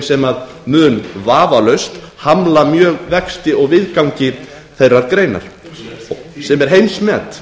sem mun vafalaust hamla mjög vexti og viðgangi þeirrar greinar se er heimsmet